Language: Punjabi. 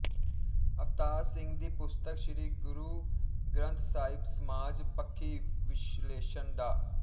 ਅਵਤਾਰ ਸਿੰਘ ਦੀ ਪੁਸਤਕ ਸ਼੍ਰੀ ਗੁਰੂ ਗ੍ਰੰਥ ਸਾਹਿਬਸਮਾਜ ਪੱਖੀ ਵਿਸ਼ਲੇਸ਼ਣ ਡਾ